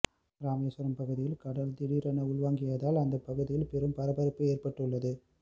ராமேஸ்வரம் பகுதியில் கடல் திடீரென உள்வாங்கியதால் அந்த பகுதியில் பெரும் பரபரப்பு ஏற்பட்டுள்ளது